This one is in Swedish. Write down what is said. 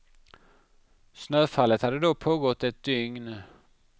Snöfallet hade då pågått ett dygn.